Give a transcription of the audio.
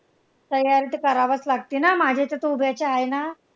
तयारी तर कराव्याच लागते ना माझ्याईच्या तर उभ्याच्या आहे ना,